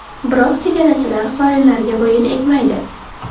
Biroq chegarachilar xoinlarga bo‘yin egmaydi.